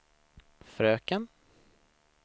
fröken